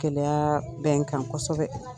Gɛlɛyaa bɛ n kan kosɛbɛ